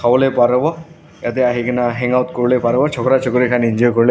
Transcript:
parewo yatae ahikae na hangout kuriwolae parewo chokra chukri khan enjoy kuriwolae.